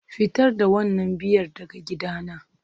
Fitar da wannan Biyar daga gidana